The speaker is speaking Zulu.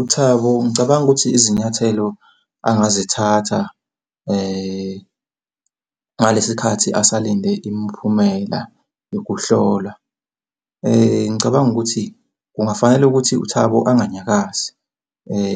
UThabo ngicabanga ukuthi izinyathelo angazithatha ngalesi khathi esalinde imiphumela yokuhlolwa, ngicabanga ukuthi kungafanele ukuthi uThabo enganyakazi